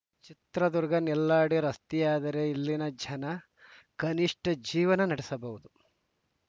ಚಿತ್ರದುರ್ಗ ನೆಲ್ಲಾಡಿ ರಸ್ತೆಯಾದರೆ ಇಲ್ಲಿನ ಜನ ಕನಿಷ್ಠ ಜೀವನ ನಡೆಸಬಹುದು